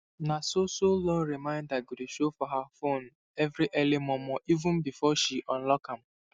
na so so loan reminder go dey show for her phone every early mormoreven before she unlock am